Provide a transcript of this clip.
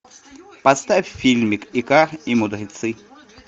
поставь фильмик икар и мудрецы